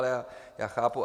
Ale já chápu...